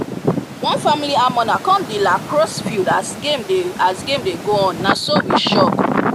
one family emmener come the lacrosse field as game dey as game dey go on na so we shock